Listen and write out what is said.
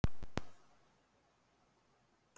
Viltu meira kók?